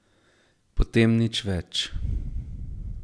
Potem nič več...